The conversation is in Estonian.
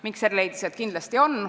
Mikser leidis, et kindlasti on.